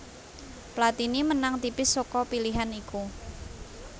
Platini menang tipis saka pilihan iku